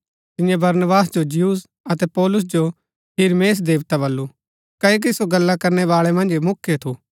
तिन्ये बरनबास जो ज्यूस अतै पौलुस जो हिरमेस देवता बल्लू क्ओकि सो गल्ला करनै बाळै मन्ज मुख्य थु